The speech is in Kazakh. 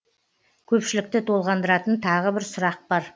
көпшілікті толғандыратын тағы бір сұрақ бар